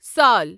سال